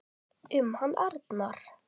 Hugsaði til bróður síns.